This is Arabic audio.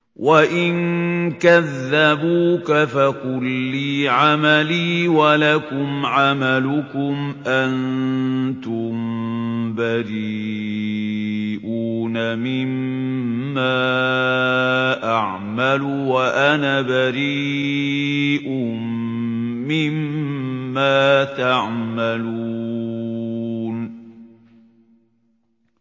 وَإِن كَذَّبُوكَ فَقُل لِّي عَمَلِي وَلَكُمْ عَمَلُكُمْ ۖ أَنتُم بَرِيئُونَ مِمَّا أَعْمَلُ وَأَنَا بَرِيءٌ مِّمَّا تَعْمَلُونَ